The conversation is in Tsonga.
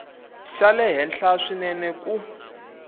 xa le henhla swinene ku